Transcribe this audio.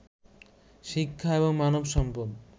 শিক্ষা এবং মানব সম্পদ